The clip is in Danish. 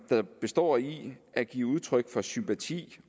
består i at give udtryk for sympati